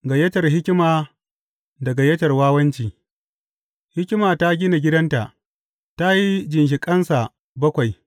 Gayyatar hikima da gayyatar wawanci Hikima ta gina gidanta; ta yi ginshiƙansa bakwai.